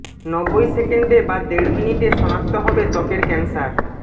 নব্বই সেকেন্ডে বা দেড় মিনিটে শনাক্ত হবে ত্বকের ক্যান্সার